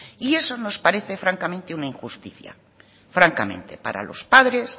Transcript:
y eso nos parece francamente una injusticia francamente para los padres